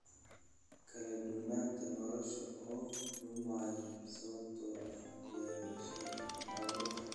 Kala-duwanaanta noolaha oo lumaya sababtoo ah beerashada hal-abuurka ah.